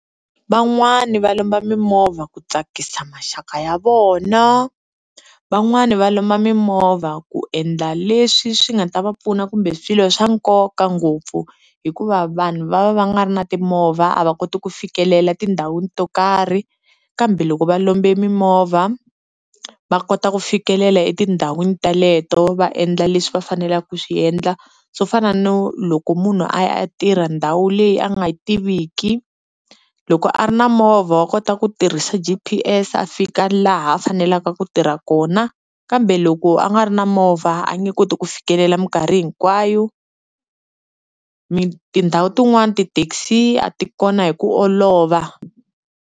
Van'wani va lomba mimovha ku tsakisa maxaka ya vona, van'wani va lomba mimovha ku endla leswi swi nga ta va pfuna kumbe swilo swa nkoka ngopfu hikuva vanhu va va va nga ri na timovha a va koti ku fikelela tindhawini to karhi, kambe loko va lombe mimovha a va kota ku fikelela etindhawini teleto va endla leswi va fanelaku swi endla swo fana no loko munhu aya a tirha ndhawu leyi a nga yi tiviki loko a ri na movha wa kota ku tirhisa G_P_S, a fika laha a faneleka ku tirha kona kambe loko a nga ri na movha a nge koti ku fikelela minkarhi hinkwayo mi tindhawu tin'wani ti-taxi a ti kona hi ku olova.